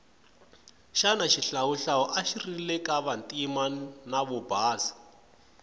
shana shihlawuhlawu ashirilekavantima navobhasa